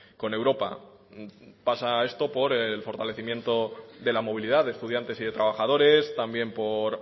con europa pasa esto por el fortalecimiento de la movilidad de estudiantes y de trabajadores también por